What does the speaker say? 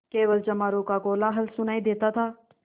केवल चमारों का कोलाहल सुनायी देता था